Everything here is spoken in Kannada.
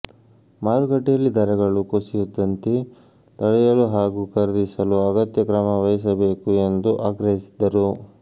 ಮಾರುಕಟ್ಟೆಯಲ್ಲಿ ದರಗಳು ಕುಸಿಯದಂತೆ ತಡೆಯಲು ಹಾಗು ಖರೀದಿಸಲು ಅಗತ್ಯ ಕ್ರಮವಹಿಸಬೇಕು ಎಂದು ಆಗ್ರಹಿಸಿದರು